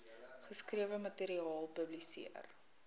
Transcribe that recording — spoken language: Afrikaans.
geskrewe materiaal publiseer